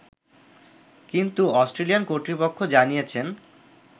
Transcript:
কিন্তু অস্ট্রেলিয়ান কর্তৃপক্ষ জানিয়েছেন